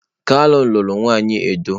Kalu luru nwanyi Edo.